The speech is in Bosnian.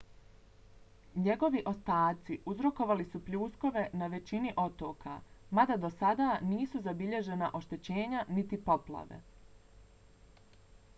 njegovi ostaci uzrokovali su pljuskove na većini otoka mada do sada nisu zabilježena oštećenja niti poplave